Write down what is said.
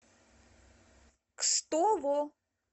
кстово